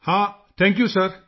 ਹਾਂ thank you sir